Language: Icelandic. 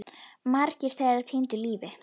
Margir þeirra týndu lífi.